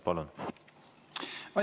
Palun!